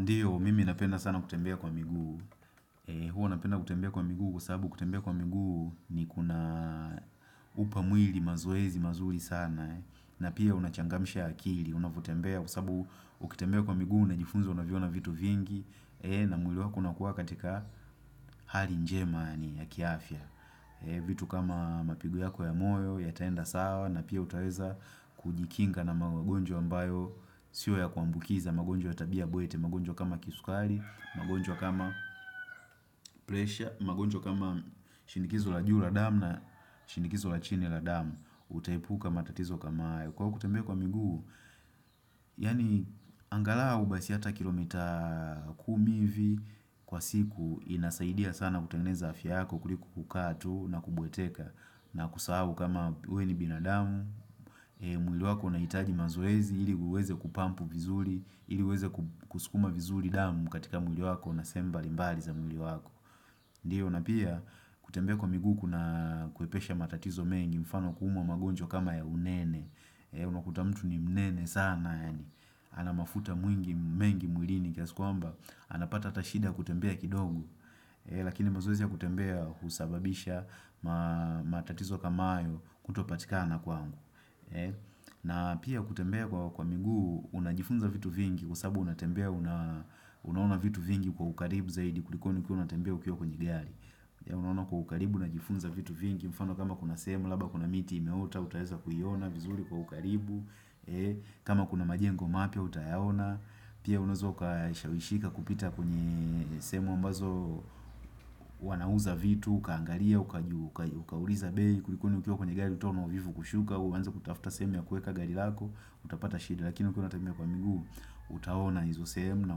Ndiyo, mimi napenda sana kutembea kwa miguu. Huwa napenda kutembea kwa miguu kwa sababu kutembea kwa miguu ni kuna upa mwili mazoezi mazuri sana. Na pia unachangamsha akili, unavyotembea kwa sababu ukitembea kwa miguu na njifunzo unaviona vitu vingi. Na mwili wako unakuwa katika hali njema ni ya kiafya. Vitu kama mapigo yako ya moyo, yataenda sawa, na pia utaweza kujikinga na magonjwa ambayo. Sio ya kuambukiza magonjwa ya tabia bwete. Magonjwa kama kisukari magonjwa kama presha magonjwa kama shinikizo la juu la damu na shinikizo la chini la damu. Utaepuka matatizo kama hayo. Kwa kutembea kwa miguu Yani angalau basi hata kilomita kumi hivi Kwa siku inasaidia sana kutengeneza afya yako kuliko kukaa tu na kubweteka na kusahu kama we ni binadamu mwili wako unahitaji mazoezi ili uweze kupampu vizuri ili uweze kusukuma vizuri damu katika mwili wako na sehemu mbali mbali za mwili wako. Ndiyo na pia kutembea kwa miguu kuna kwepesha matatizo mengi mfano kuumwa magonjwa kama ya unene. Unakuta mtu ni mnene sana yani. Ana mafuta mwingi mengi mwili ni kiasi kwamba. Ana pata hata shida ya kutembea kidogo. Lakini mazoezi ya kutembea husababisha matatizo kama hayo kutopatikana kwangu. Na pia kutembea kwa miguu unajifunza vitu vingi kwa sababu unatembea unaona vitu vingi kwa ukaribu zaidi kuliko ni ukiwa unatembea ukiwo kwenye gari Unaona kwa ukaribu unajifunza vitu vingi mfano kama kuna sehemu labda kuna miti imeota utaweza kuiiona vizuri kwa ukaribu kama kuna majengo mapya, utayaona Pia unaweza ukashawishika kupita kwenye sehemu ambazo wanauza vitu Ukaangalia, ukauliza bei Kulikoni ukiwa kwenye gari utaona uvivu kushuka au uanze kutafuta sehemu ya kueka gari lako. Utapata shida, lakini ukiwa unatembea kwa miguu, Utaona hizo sehemu na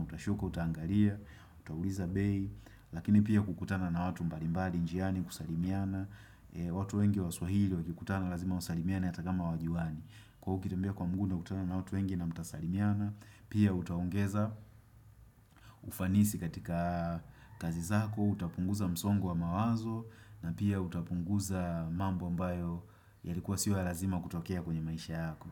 utashuka Utaangala, utauliza bei Lakini pia kukutana na watu mbalimbali njiani kusalimiana watu wengi wa swahili wakikutana Lazima wasalimiane hata kama hawajuani. Kwa hiyo ukitembea kwa mguu unakutana na watu wengi na mtasalimiana, pia utaongeza ufanisi katika kazi zako, utapunguza msongu wa mawazo na pia utapunguza mambo ambayo yalikuwa sio ya lazima kutokea kwenye maisha yako.